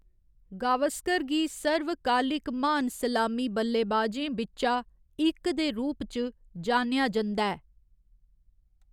गावस्कर गी सर्वकालिक महान सलामी बल्लेबाजें बिच्चा इक दे रूप च जानेआ जंदा ऐ।